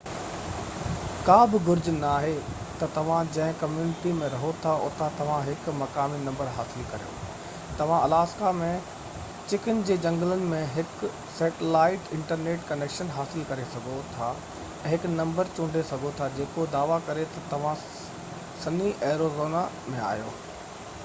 ڪا بہ گهرج ناهي تہ توهان جنهن ڪميونٽي ۾ رهو ٿا اتان توهان هڪ مقامي نمبر حصل ڪريو؛ توهان الاسڪا ۾ چڪن جي جهنگلن ۾ هڪ سيٽلائيٽ انٽرنيٽ ڪنيڪشن حاصل ڪري سگهو ٿا ۽ هڪ نمبر چونڊي سگهو ٿا جيڪو دعويٰ ڪري تہ توهان سني ايريزونا ۾ آهيو